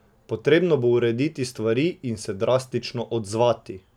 Potrebno bo urediti stvari in se drastično odzvati.